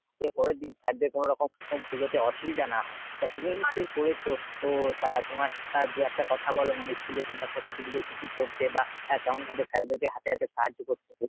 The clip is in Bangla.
যদি পরের দিন sir দের কোনরকম উম পুজোতে অসুবিধা না হয়। তা তুমিও নিশ্চয়ই করেছো ও তা তোমার দু একটা কথা বল মানে school এ তোমরা সরস্বতী পুজোয় কি কি করতে বা কেমন ভাবে sir দেরকে হাতে হাতে সাহায্য করতে।